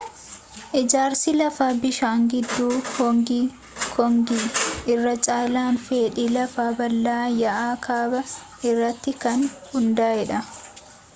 ijaarsi lafa bishaan gidduu hoongi koongi irra caalaan fedhii lafa bal'aa yaa'a kaabaa irratti kan hundaa'eedha